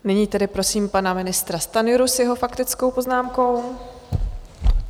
Nyní tedy prosím pana ministra Stanjuru s jeho faktickou poznámkou.